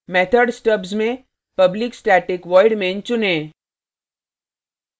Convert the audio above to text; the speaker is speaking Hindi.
method stubs में public static void main चुनें